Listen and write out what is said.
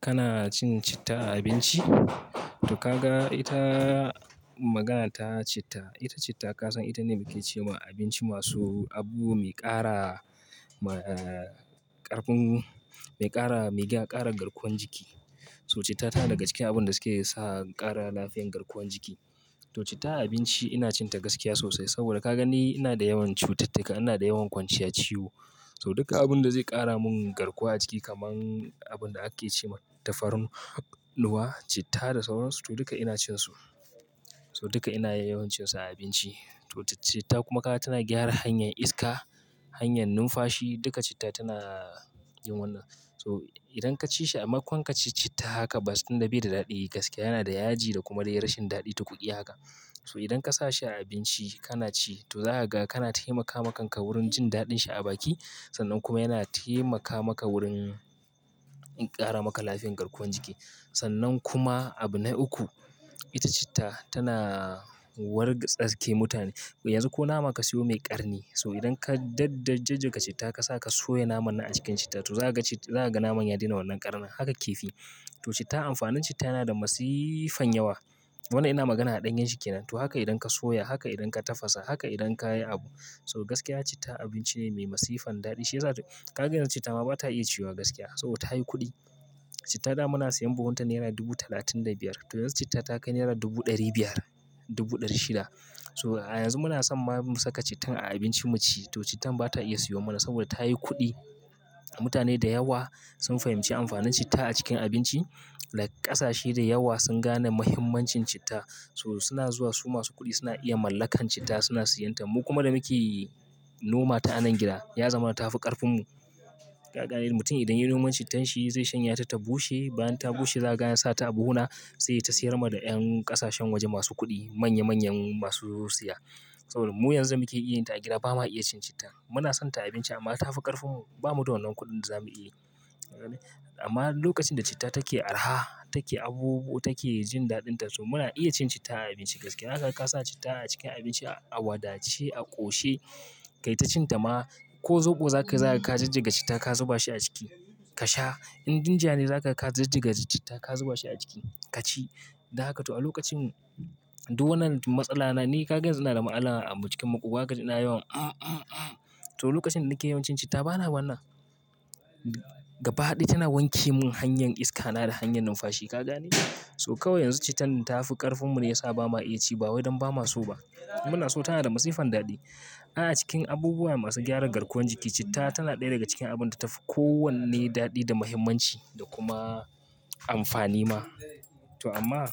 Kana cin citta a abinci? To kaga ita, magana ta citta, ita citta ka san ita ne muke cewa abinci masu abu mai ƙara, ƙarfin, mai ƙara, mai ga ƙara garkuwan jiki. So citta ta daga cikin abun da suke sa ƙara lafiyan garkuwan jiki. To citta a abinci ina cin ta gaskiya sosai saboda ka gan ni ina da yawan cututtuka, ina da yawan kwanciya ciwo. So duka abun da zai ƙara mun garkuwa jiki kaman abun da ake ce ma tafarnuwa, citta da sauransu to duka ina cin su. So duka ina yawan cin su a abinci. To citta kuma ka ga tana gyara hanyar iska, hanyar numfashi duka citta tana yin wannan. So idan ka ci shi a makon ka ci citta haka ba tunda bai da daɗi gaskiya yana da yaji da kuma da rashin daɗi tukudi haka. So idan ka sa shi a abinci kana ci to za ka ga kana taimaka ma kanka wurin jin daɗin shi a baki sannan kuma yana taimaka maka wurin ƙara maka lafiyan garkuwan jiki. Sannan kuma abu na uku, ita citta tana wargatsa ke mutane. Yanzu ko nama ka siyo mai ƙarni so idan ka daddajjiƙa citta ka sa ka soya naman na a cikin citta to za ka ci, za ka ga naman ya daina wannan ƙarnin haka kifi. To citta amfanin citta yana da masifan yawa. Wannan ina magana a ɗanyan shi ke nan. To haka idan ka soya, haka idan ka tafasa, haka idan ka yi abu. So gaskiya citta abinci ne mai masifan daɗi. Shi yasa to ka gan yanzu citta ma bata iya ciwa gaskiya. So ta yi kuɗi. Cittada muna siyan buhun ta nera dubu talatin da biyar. Tundun citta ta kai naira dubu ɗari biyar, dubu ɗari shida. So a yanzu muna son ba mu saka cittan a abincin mu ci to cittan bata iya siyo mana saboda ta yi kuɗi. Mutane da yawa sun fahimci amfanin citta a cikin abinci. Like ƙasashe da yawa sun gane muhimmancin citta. So suna zuwa su masu kuɗi suna iya mallakan citta suna siyan ta. Mu kuma da muke noma ta a nan gida ya zama ta fi ƙarfin mu. Ka ga ne mutum idan ya noman cittan shi zai shanya ta ta bushe. Bayan ta bushe zai gan ya sa ta abuna sai ta siyar ma da ƴan ƙasashen waje masu kuɗi, manya manyan masu siya. Saboda mu yanzu muke iya yin ta a gida bamu iya cin citta. Muna son ta a abinci amma ta fi ƙarfin mu. Bamu da wannan kuɗin za mu yi. Amma lokacin da citta take araha, take abubu, take jin daɗin ta so muna iya cin citta a abinci gaskiya. Haka ka sa citta a cikin abinci, a wadace, a ƙoshe kai tacin ta ma. Ko zoɓo zakayi za ka jijjiga citta ka zuba shi a ciki ka sha. In ginger ne za ka ka jijjiga citta ka zuba shi a ciki ka ci. Da haka to a lokacin duk wannan matsala na ni ka ga yanzu inada matsala a cikin makubwa kaci ina yawan to lokacin da nake yawan cin citta bana wannan. Gaba ɗaya tana wanke mun hanyar iska na da hanyar numfashi ka gane? So kawai yanzu cittan ta fi ƙarfin mu ne yasa ba ma iya ci ba wai don ba ma so ba. Muna so tana da masifan daɗi. A cikin abubuwa masu gyaran garkuwan jiki citta tana ɗaya daga cikin abun da tafi kowanne daɗi da muhimmanci da kuma amfani ma. To amma